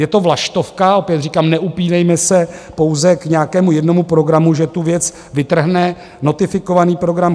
Je to vlaštovka, opět říkám, neupínejme se pouze k nějakému jednomu programu, že tu věc vytrhne notifikovaný program.